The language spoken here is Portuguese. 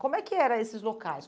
Como é que eram esses locais?